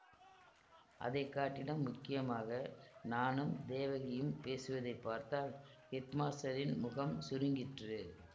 அதை காட்டிலும் முக்கியமாக நானும் தேவகியும் பேசுவதைப் பார்த்தால் ஹெட்மாஸ்டரின் முகம் சுருங்கிற்று